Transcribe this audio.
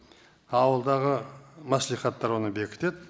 ауылдағы мәслихаттар оны бекітеді